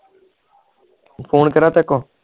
phone ਕਿਹੜਾ ਤੇਰੇ ਕੋ